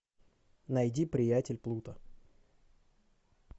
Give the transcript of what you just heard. найди приятель плуто